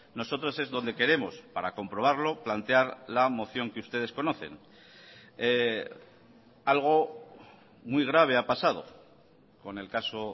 nosotros es donde queremos para comprobarlo plantear la moción que ustedes conocen algo muy grave ha pasado con el caso